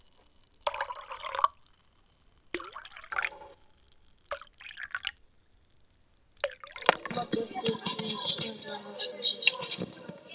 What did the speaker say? Mótmæltu við stjórnarráðshúsið